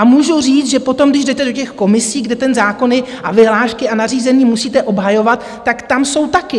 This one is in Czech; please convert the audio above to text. A můžu říct, že potom, když jdete do těch komisí, kde ty zákony a vyhlášky a nařízení musíte obhajovat, tak tam jsou taky.